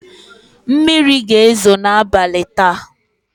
Mmiri ga-ezo n'abalị taa.